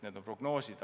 Need on prognoosid.